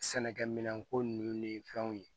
Sɛnɛkɛ minɛnko nunnu ni fɛnw ye